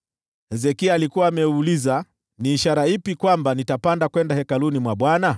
Hezekia alikuwa ameuliza, “Kutakuwa na ishara gani kwamba nitapanda kwenda Hekalu la Bwana ?”